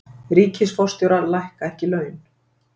Ríkisforstjórar lækka ekki laun